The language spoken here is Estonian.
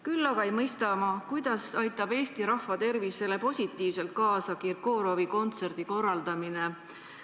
Küll aga ei mõista ma, kuidas aitab Eesti rahva tervisele kaasa Kirkorovi kontserdi korraldamine.